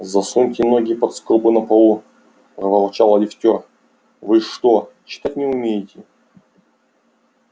засуньте ноги под скобы на полу проворчал лифтёр вы что читать не умеете